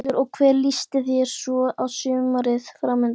Þórhallur: Og hvernig líst þér svo á sumarið framundan?